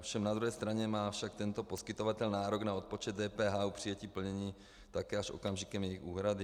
Ovšem na druhé straně má však tento poskytovatel nárok na odpočet DPH u přijetí plnění také až okamžikem jejich úhrady.